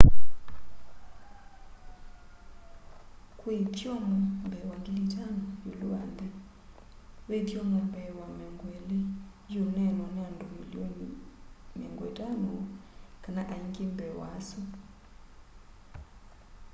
kwi ithyomo mbee wa 5,000 iulu wa nthi ve ithyomo mbee wa 20 iuneenwa ni andu mililion 50 kana ainge mbee wa asu